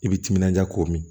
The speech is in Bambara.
I bi timinanja k'o min